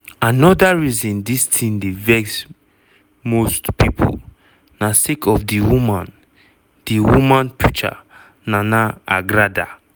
anoda reason dis tin dey vex most pipo na sake of di woman di woman preacher (nana agradaa)